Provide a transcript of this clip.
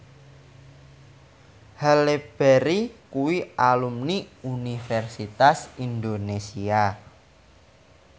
Halle Berry kuwi alumni Universitas Indonesia